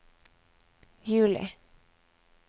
juli